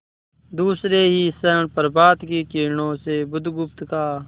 दूसरे ही क्षण प्रभात की किरणों में बुधगुप्त का